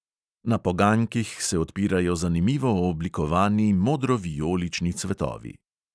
Na poganjkih se odpirajo zanimivo oblikovani modrovijolični cvetovi.